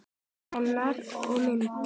Greinar og mynd